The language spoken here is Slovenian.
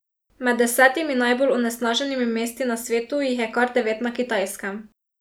Med desetimi najbolj onesnaženimi mesti na svetu jih je kar devet na Kitajskem.